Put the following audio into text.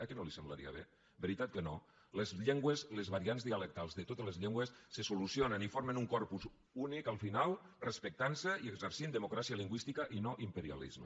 eh que no li semblaria bé veritat que no les llengües les variants dialectals de totes les llengües se solucionen i formen un corpus únic al final respectant se i exercint democràcia lingüística i no imperialisme